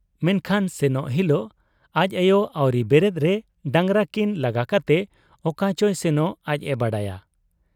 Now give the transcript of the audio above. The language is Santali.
ᱢᱮᱱᱠᱷᱟᱱ ᱥᱮᱱᱚᱜ ᱦᱤᱞᱚᱜ ᱟᱡ ᱟᱭᱚ ᱟᱹᱣᱨᱤ ᱵᱮᱨᱮᱫ ᱨᱮ ᱰᱟᱝᱜᱽᱨᱟ ᱠᱤᱱ ᱞᱟᱜᱟ ᱠᱟᱛᱮ ᱚᱠᱟᱪᱚᱭ ᱥᱮᱱᱚᱜ ᱟᱡ ᱮ ᱵᱟᱰᱟᱭᱟ ᱾